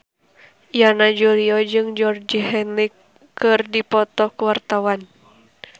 Yana Julio jeung Georgie Henley keur dipoto ku wartawan